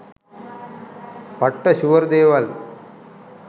'පට්ට ෂුවර්' දේවල්